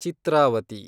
Chitravati